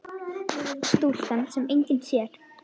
Stúlkan sem enginn sér.